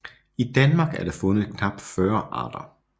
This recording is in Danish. I Danmark er der fundet knap 40 arter